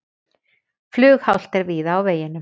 Flughált er víða á vegum